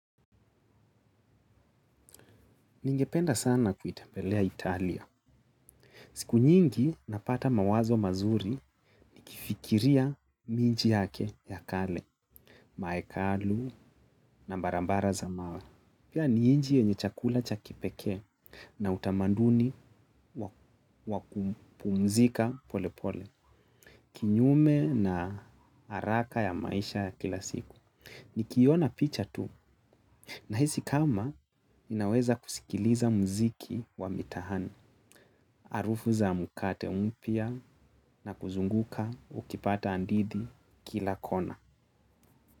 Ningependa sana kuitembelea Italia. Siku nyingi napata mawazo mazuri nikifikiria miji yake ya kale, maekalu na barabara za mawe. Pia ni nchi yenye chakula cha kipekee na utamaduni wa kupumzika pole pole. Kinyume na haraka ya maisha ya kila siku. Nikiona picha tu nahisi kama ninaweza kusikiliza muziki wa mitaani, harufu za mkate mpya na kuzunguka ukipata ndizi kila kona.